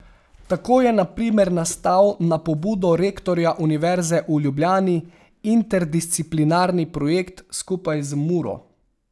Tako je na primer nastal na pobudo rektorja Univerze v Ljubljani interdisciplinarni projekt skupaj z Muro.